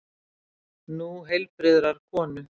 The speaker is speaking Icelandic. Nú heilbrigðrar konu.